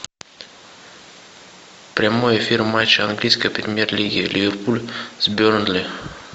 прямой эфир матча английской премьер лиги ливерпуль с бернли